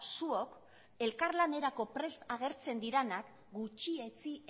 zuok elkarlanerako prest agertzen direnak gutxietsi